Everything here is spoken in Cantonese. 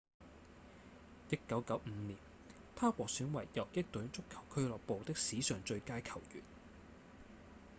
1995年他獲選為游擊隊足球俱樂部的史上最佳球員